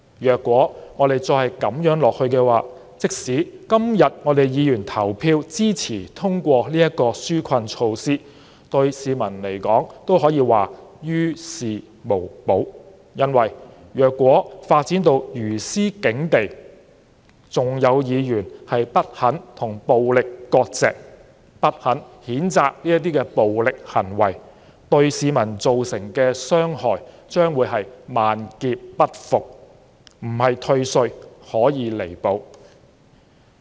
如果再這樣下去，即使今天議員投票支持通過這項紓困措施，對市民來說也於事無補，因為如果發展到如斯境地，還有議員不肯與暴力割席，不肯譴責暴力行為，對市民造成的傷害將會是萬劫不復，並非退稅可以彌補。